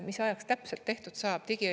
Mis ajaks see täpselt tehtud saab?